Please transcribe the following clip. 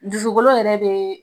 Dusukolo yɛrɛ be